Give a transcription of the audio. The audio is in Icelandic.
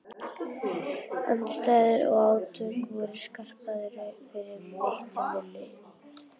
Andstæður og átök voru skarpari fyrir mitt minni.